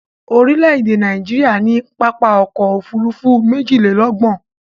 Orílè-èdè Nàìjíríà ní pápá ọkọ̀ Òfurufú méjìlélọ́gbọ̀n